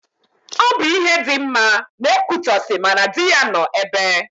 Ọ bụ ihe dị mma na Ekwitọsị ma na dị ya nọ ebe.